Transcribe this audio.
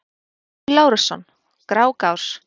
Ólafur Lárusson: Grágás